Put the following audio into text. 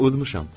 Udmuşam.